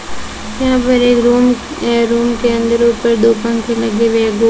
यहां पर एक रूम ये रूम के अंदर ऊपर दो पंखे लगे हुए हैं दो --